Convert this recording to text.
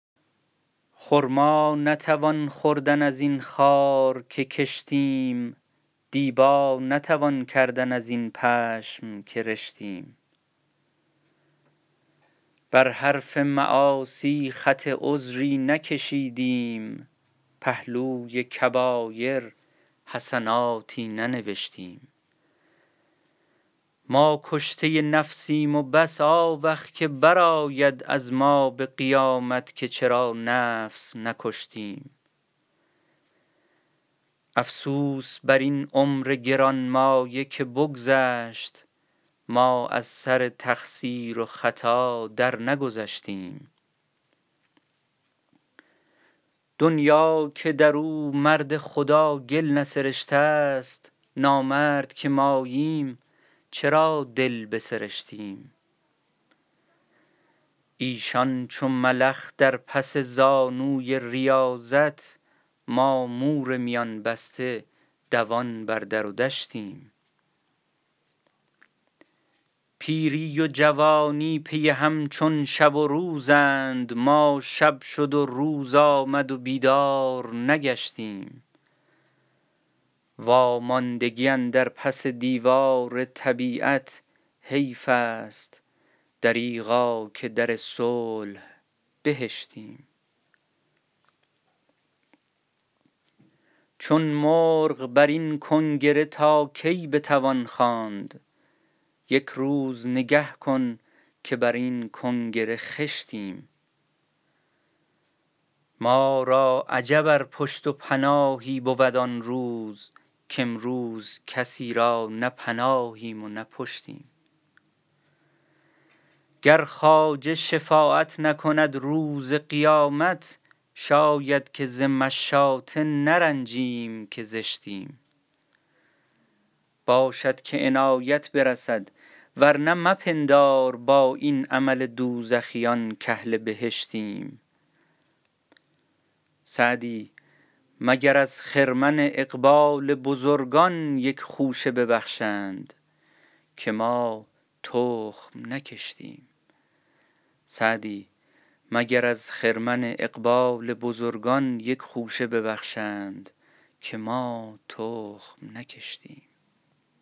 خرما نتوان خوردن از این خار که کشتیم دیبا نتوان کردن از این پشم که رشتیم بر حرف معاصی خط عذری نکشیدیم پهلوی کبایر حسناتی ننوشتیم ما کشته نفسیم و بس آوخ که برآید از ما به قیامت که چرا نفس نکشتیم افسوس بر این عمر گرانمایه که بگذشت ما از سر تقصیر و خطا درنگذشتیم دنیا که در او مرد خدا گل نسرشته ست نامرد که ماییم چرا دل بسرشتیم ایشان چو ملخ در پس زانوی ریاضت ما مور میان بسته دوان بر در و دشتیم پیری و جوانی پی هم چون شب و روزند ما شب شد و روز آمد و بیدار نگشتیم واماندگی اندر پس دیوار طبیعت حیف است دریغا که در صلح بهشتیم چون مرغ بر این کنگره تا کی بتوان خواند یک روز نگه کن که بر این کنگره خشتیم ما را عجب ار پشت و پناهی بود آن روز کامروز کسی را نه پناهیم و نه پشتیم گر خواجه شفاعت نکند روز قیامت شاید که ز مشاطه نرنجیم که زشتیم باشد که عنایت برسد ورنه مپندار با این عمل دوزخیان کاهل بهشتیم سعدی مگر از خرمن اقبال بزرگان یک خوشه ببخشند که ما تخم نکشتیم